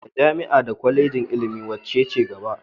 Da jami'a da Kwalejin ilimi wacce ce gaba?